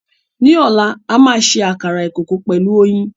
Ní ọ̀la a máa ṣe àkàrà ìkòkò pẹ̀lú oyin.